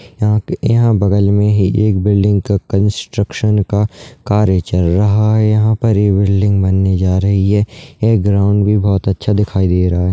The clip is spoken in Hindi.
यहाँ के यहाँ बगल मे ही एक बिल्डिंग का कंस्ट्रक्शन का कार्य चल रहा है यह पर ये बिल्डिंग बनने जा रही है ये ग्राउन्ड भी बहोत अच्छा दिखाई दे रहा है ।